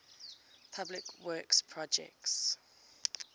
public works projects